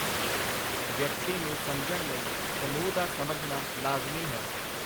ਵਿਅਕਤੀ ਨੂੰ ਸਮਝਣ ਲਈ ਸਮੂਹ ਦਾ ਸਮਝਣਾ ਲਾਜ਼ਮੀ ਹੈ.